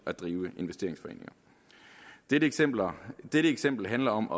at drive investeringsforeninger dette eksempel dette eksempel handler om